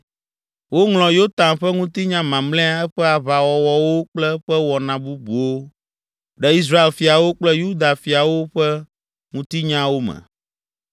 Woŋlɔ Yotam ƒe ŋutinya mamlɛa, eƒe aʋawɔwɔwo kple eƒe wɔna bubuwo ɖe Israel fiawo kple Yuda fiawo ƒe Ŋutinyawo me.